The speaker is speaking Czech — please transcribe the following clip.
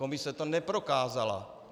Komise to neprokázala.